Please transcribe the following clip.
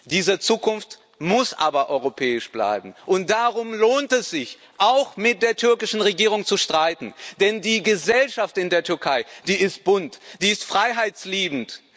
Diese Zukunft muss aber europäisch bleiben. Und darum lohnt es sich, auch mit der türkischen Regierung zu streiten, denn die Gesellschaft in der Türkei ist bunt, ist freiheitsliebend.